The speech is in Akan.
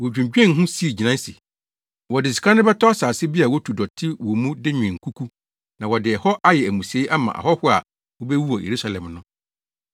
Wodwinnwen ho sii gyinae se, wɔde sika no bɛtɔ asase bi a wotu dɔte wɔ mu de nwen nkuku, na wɔde ɛhɔ ayɛ amusiei ama ahɔho a wobewu wɔ Yerusalem no.